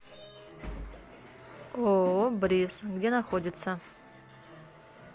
ооо бриз где находится